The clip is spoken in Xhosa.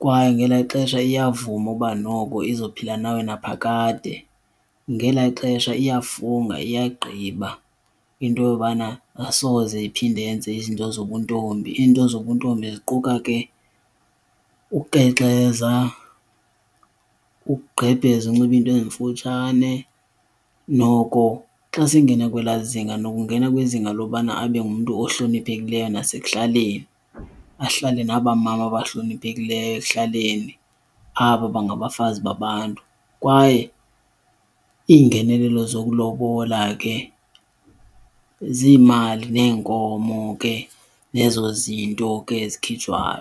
kwaye ngelaa xesha iyavuma uba noko izophila nawe naphakade. Ngelaa xesha iyafunga iyagqiba into yobana asoze iphinde yenze izinto zobuntombi. Iinto zobuntombi ziquka ke ukukrexeza, ukugqebheza unxiba iinto ezimfutshane. Noko xa sengena kwelaa zinga noko ungena kwizinga lokubana abe ngumntu ohloniphekileyo nasekuhlaleni, ahlale naba mama bahloniphekileyo ekuhlaleni, aba bangabafazi babantu. Kwaye ingenelelo zokulobola ke ziimali neenkomo ke nezo zinto ke zikhitshwayo.